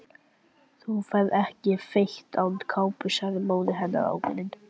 Þú ferð ekki fet án kápu sagði móðir hennar ákveðin.